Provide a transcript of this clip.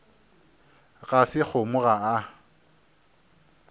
ga se kgomo ga a